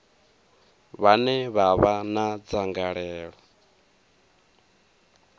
vhane vha vha na dzangalelo